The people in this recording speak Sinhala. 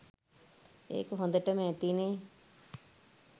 ඒක හොඳටම ඇතිනේ